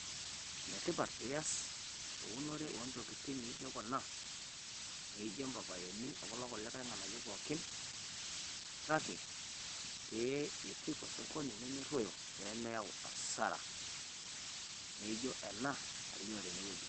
Enetipat pee ias eunore oo ntokitin naijo kuna naijo mpapaini o kulo kulie ng'anayio pookin. Kake pee ipik osokoni nemeruoyo pee meta hasara naijo ena nalio tenewueji.